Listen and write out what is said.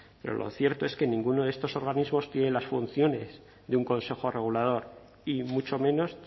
pero lo cierto es que ninguno de estos organismos tiene las funciones de un consejo regulador y mucho menos